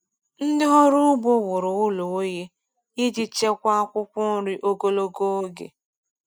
Ndị ọrụ ugbo wuru ụlọ oyi iji chekwaa akwụkwọ nri ogologo oge.